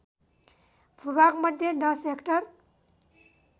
भूभागमध्ये १० hectare